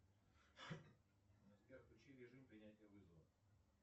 сбер включи режим принятия вызова